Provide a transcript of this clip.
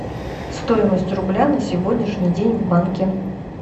стоимость рубля на сегодняшний день в банке